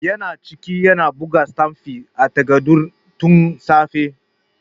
Yana ciki yana buga sitamfi a takardun tun safe.